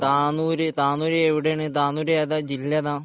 താനൂര് താനൂര് എവിടെയാണ് താനൂര് ഏതാ ജില്ലാ ഏതാ